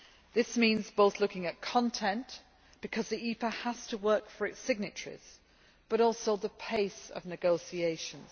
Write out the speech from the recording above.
This means both looking at content because the EPA has to work for its signatories but also the pace of negotiations.